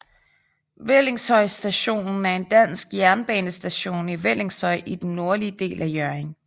Vellingshøj Station er en dansk jernbanestation i Vellingshøj i den nordlige del af Hjørring